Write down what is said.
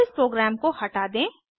अब इस प्रोग्राम को हटा दें